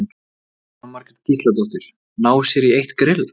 Jóhanna Margrét Gísladóttir: Ná sér í eitt grill?